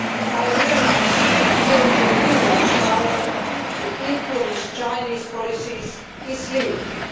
I realise that the European Union's power to influence China's policies is limited.